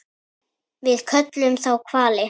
Við köllum þá hvali.